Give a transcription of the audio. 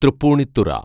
Tripunithura